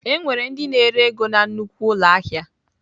Enwere ndị na-ere ego na nnukwu ụlọ ahịa.